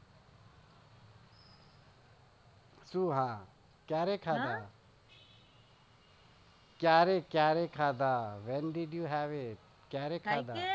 શૂ હા ક્યારે ખાધા ક્યારે કયારે ખાધા when did you have it